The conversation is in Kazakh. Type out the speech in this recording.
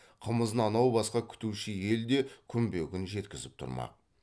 қымызын анау басқа күтуші ел де күнбе күн жеткізіп тұрмақ